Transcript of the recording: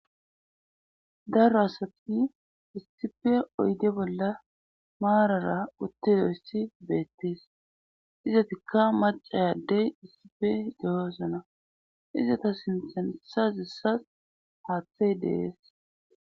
daro asati issipe oyde bolla maarara uttidoyssi beettees izatikka macay addey issipe de7osona izata sintan sazissas haaththey de7es